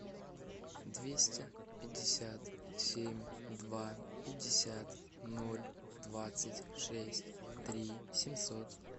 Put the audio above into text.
двести пятьдесят семь два пятьдесят ноль двадцать шесть три семьсот